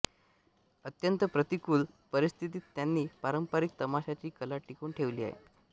अत्यंत प्रतिकूल परिस्थितीत त्यांनी पारंपरिक तमाशाची कला टिकवून ठेवली आहे